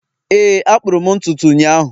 Éè a kpụrụ m ntutu ụnyahụ